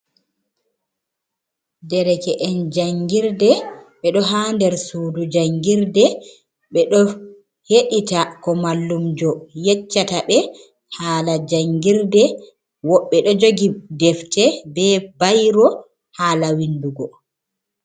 Derke'en jangirde ɓe ɗo haa der sudu jangirde, ɓe ɗo heɗita ko mallumjo yeccata ɓe hala jangirde, woɓɓe ɗo jogi defte be bayro hala windugo.